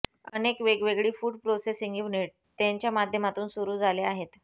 अनेक वेगवेगळी food processing unit त्यांच्यामाध्यमातून सुरु झाले आहेत